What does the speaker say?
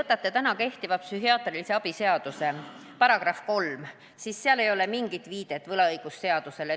Kui te vaatate praegu kehtiva psühhiaatrilise abi seaduse § 3, siis seal ei ole mingit viidet võlaõigusseadusele.